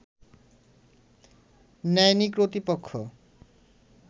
নেয়নি কর্তৃপক্ষ